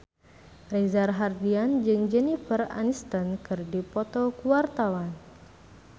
Reza Rahardian jeung Jennifer Aniston keur dipoto ku wartawan